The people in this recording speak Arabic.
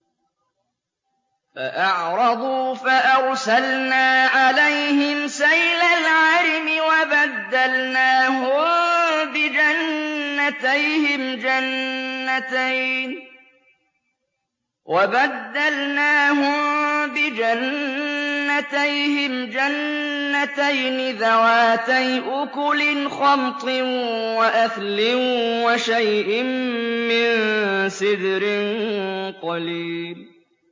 فَأَعْرَضُوا فَأَرْسَلْنَا عَلَيْهِمْ سَيْلَ الْعَرِمِ وَبَدَّلْنَاهُم بِجَنَّتَيْهِمْ جَنَّتَيْنِ ذَوَاتَيْ أُكُلٍ خَمْطٍ وَأَثْلٍ وَشَيْءٍ مِّن سِدْرٍ قَلِيلٍ